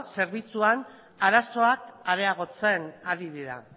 zerbitzuan arazoak areagotzen ari dira